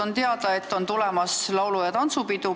On teada, et jälle on tulemas laulu- ja tantsupidu.